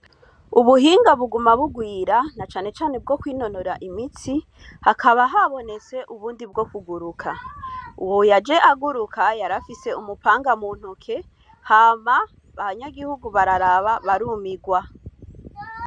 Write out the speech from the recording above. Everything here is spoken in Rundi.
Ubuhinga buguma bugwira na canecane bwo kwinonora imitsi, hakaba haboneste ubundi bwo kuguruka, uwo yaje aguruka yarafise umupanga muntoki hama abanyagihugu bararaba barumirwa.